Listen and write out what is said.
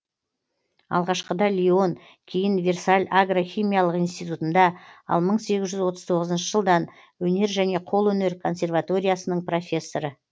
алғашқыда лион кейін версаль агрохимиялық институтында ал мың сегіз жүз отыз тоғызыншы жылдан өнер және қолөнер консерваториясынң профессоры